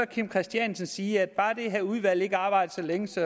kim christiansen sige at bare det her udvalg ikke arbejder så længe så